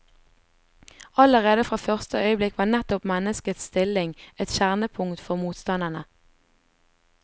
Allerede fra første øyeblikk var nettopp menneskets stilling et kjernepunkt for motstanderne.